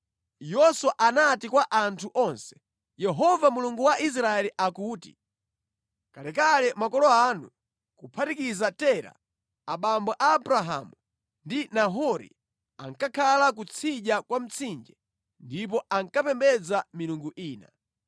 Yoswa anati kwa anthu onse, “Yehova Mulungu wa Israeli akuti, ‘Kalekale makolo anu, kuphatikiza Tera, abambo a Abrahamu ndi Nahori ankakhala kutsidya kwa Mtsinje ndipo ankapembedza milungu ina.